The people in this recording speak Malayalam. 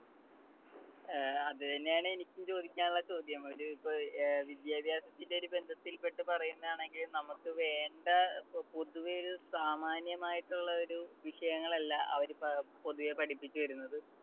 ഏർ അത് തന്നെയാണ് എനിക്കും ചോദിക്കാനുള്ള ചോദ്യം. ഒരു ഇപ്പോ വിദ്യാഭ്യാസത്തിന്റെ ഒരു ബന്ധത്തിൽപെട്ടു പറയുന്നതാണെങ്കിൽ നമുക്ക് വേണ്ട പൊതുവെ ഒരു സാമാന്യമായിട്ടുള്ള ഒരു വിഷയങ്ങളല്ല അവര് പ ~പൊതുവെ പഠിപ്പിച്ചുതരുന്നത്.